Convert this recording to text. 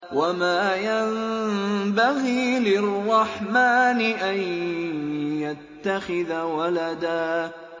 وَمَا يَنبَغِي لِلرَّحْمَٰنِ أَن يَتَّخِذَ وَلَدًا